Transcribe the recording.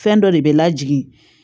Fɛn dɔ de bɛ lajigin